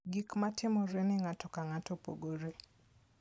Gik matimore ne ng'ato ka ng'ato opogore.